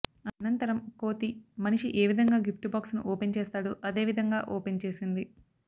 అనంతరం కోతి మనిషి ఏ విధంగా గిఫ్ట్ బాక్స్ ను ఓపెన్ చేస్తాడో అదే విధంగా ఓపెన్ చేసింది